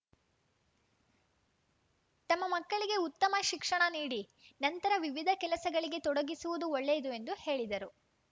ತಮ್ಮ ಮಕ್ಕಳಿಗೆ ಉತ್ತಮ ಶಿಕ್ಷಣ ನೀಡಿ ನಂತರ ವಿವಿಧ ಕೆಲಸಗಳಿಗೆ ತೊಡಗಿಸುವುದು ಒಳ್ಳೆಯದು ಎಂದು ಹೇಳಿದರು